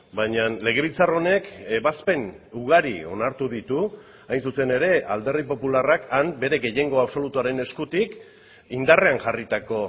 baina legebiltzar honek ebazpen ugari onartu ditu hain zuzen ere alderdi popularrak han bere gehiengo absolutuaren eskutik indarrean jarritako